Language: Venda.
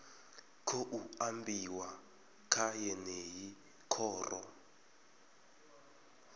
khou ambiwa kha yeneyi khoro